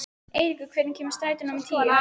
Eiríkur, hvenær kemur strætó númer tíu?